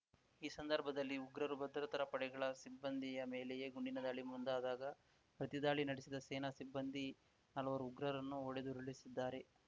ಈ ಸಂದರ್ಭದಲ್ಲಿ ಉಗ್ರರು ಭದ್ರತಾ ಪ್ರಡೆಗಳ ಸಿಬ್ಬಂದಿ ಮೇಲೆಯೇ ಗುಂಡಿನ ದಾಳಿ ಮುಂದಾದಾಗ ಪ್ರತಿದಾಳಿ ನಡೆಸಿದ ಸೇನಾ ಸಿಬ್ಬಂದಿ ನಾಲ್ವರು ಉಗ್ರರನ್ನು ಹೊಡೆದುರುಳಿಸಿದ್ದಾರೆ